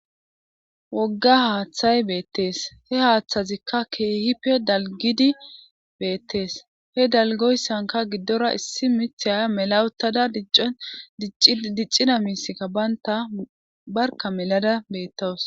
wogga haaththay beettees he haaththazikka keehipe dalgidi beettees he dalgoyssanka giddora issi mithiya mela uttada diccon diccida miiththika baynta barka mela uttada beettawus